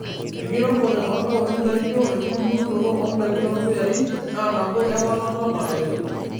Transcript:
Enkiremore ontaoni naijio enkitubulunoto ondaikin torpuyai naa nabo ewalata nalelek .